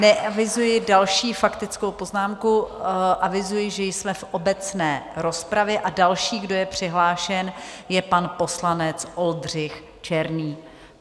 Neavizuji další faktickou poznámku, avizuji, že jsme v obecné rozpravě, a další, kdo je přihlášen, je pan poslanec Oldřich Černý.